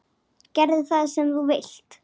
Gerðu það sem þú vilt!